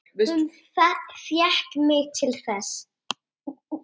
Hún fékk mig til þess!